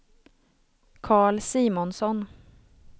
Carl Simonsson